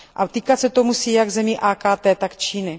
A týkat se to musí jak zemí AKT, tak Číny.